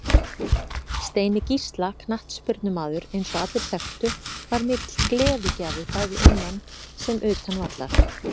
Steini Gísla knattspyrnumaður eins og allir þekktu var mikill gleðigjafi bæði innan sem utan vallar.